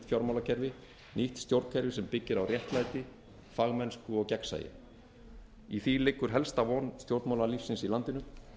fjármálakerfi nýtt stjórnkerfi sem byggir á réttlæti fagmennsku og gegnsæi í því liggur helsta von stjórnmálalífsins í landinu